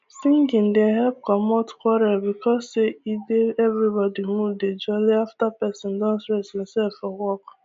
singing dey help comot quarrel because say e dey everybody mood dey jolly after persin don stress himsef for work